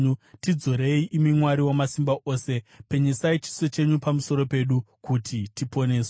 Tidzorei, imi Mwari Wamasimba Ose; penyesai chiso chenyu pamusoro pedu, kuti tiponeswe.